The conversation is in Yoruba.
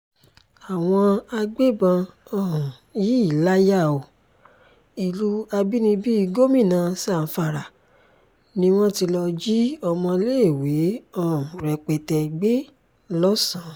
àwọn agbébọn um yìí láyà o ìlú àbínibí gómìnà zamfara ni wọ́n ti lọ́ọ́ jí ọmọléèwé um rẹpẹtẹ gbé lọ́sàn